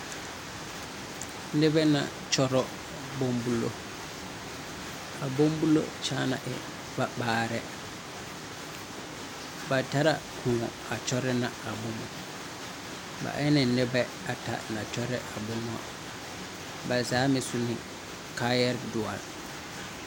Nebɛ na kyoro boŋ bulo. A boŋ bulo kyaana e va maarɛ. Ba tera koɔ a kyorɛ ne a boŋ bulo. Ba e ne nebɛ ata na kyorɛ. Bɛ zaa meŋ su ne kaaya duore